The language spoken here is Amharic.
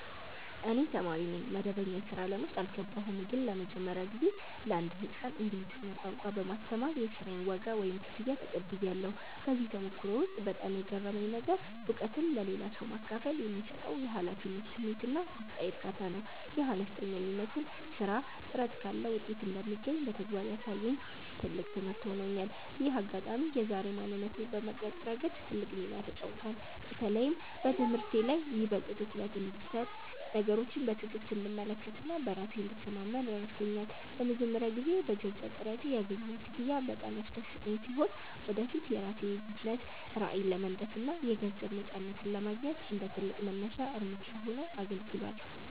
እኔ ተማሪ ነኝ፣ መደበኛ የሥራ ዓለም ውስጥ አልገባሁም። ግን ለመጀመሪያ ጊዜ ለአንድ ሕፃን እንግሊዝኛ ቋንቋ በማስተማር የሥራዬን ዋጋ (ክፍያ) ተቀብያለሁ። በዚህ ተሞክሮ ውስጥ በጣም የገረመኝ ነገር፣ እውቀትን ለሌላ ሰው ማካፈል የሚሰጠው የኃላፊነት ስሜትና ውስጣዊ እርካታ ነው። ይህ አነስተኛ የሚመስል ሥራ ጥረት ካለ ውጤት እንደሚገኝ በተግባር ያሳየኝ ትልቅ ትምህርት ሆኖኛል። ይህ አጋጣሚ የዛሬ ማንነቴን በመቅረጽ ረገድ ትልቅ ሚና ተጫውቷል። በተለይም በትምህርቴ ላይ ይበልጥ ትኩረት እንድሰጥ፣ ነገሮችን በትዕግሥት እንድመለከትና በራሴ እንድተማመን ረድቶኛል። ለመጀመሪያ ጊዜ በገዛ ጥረቴ ያገኘሁት ክፍያ በጣም ያስደሰተኝ ሲሆን፣ ወደፊት የራሴን የቢዝነስ ራዕይ ለመንደፍና የገንዘብ ነፃነትን ለማግኘት እንደ ትልቅ መነሻ እርምጃ ሆኖ አገልግሏል።